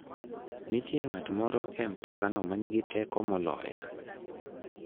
Nitie ng'at moro e mtokano ma nigi teko moloya.